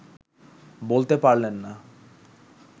বলতে পারলেন না